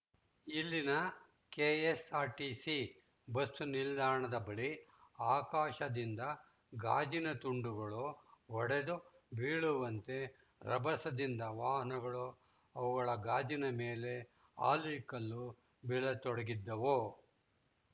ಇಲ್ಲಿನ K S R T C bus ನಿಲ್ದಾಣದ ಬಳಿ ಆಕಾಶದಿಂದ ಗಾಜಿನ ತುಂಡುಗಳು ಒಡೆದು ಬೀಳುವಂತೆ ರಭಸದಿಂದ ವಾಹನಗಳು ಅವುಗಳ ಗಾಜಿನ ಮೇಲೆ ಆಲಿಕಲ್ಲು ಬೀಳ ತೊಡಗಿದ್ದವು